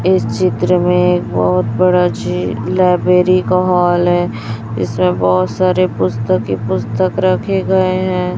इस चित्र में एक बहुत बड़ा झी लाइब्रेरी का हॉल है इसमें बहुत सारे पुस्तक ही पुस्तक रखे गए हैं।